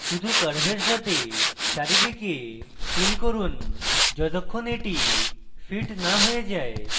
শুধু curve সাথে চারিদিকে fiddle করুন যতক্ষণ এটি fits না হয়ে যায়